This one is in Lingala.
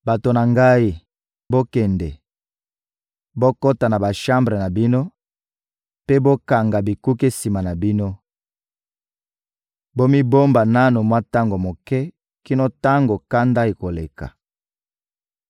Bato na ngai, bokende, bokota na bashambre na bino mpe bokanga bikuke sima na bino; bomibomba nanu mwa tango moke kino tango kanda ekoleka.